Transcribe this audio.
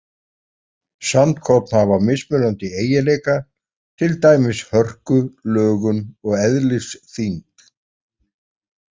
Sandkorn hafa mismunandi eiginleika, til dæmis hörku, lögun og eðlisþyngd.